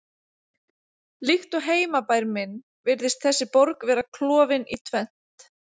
Líkt og heimabær minn virðist þessi borg vera klofin í tvennt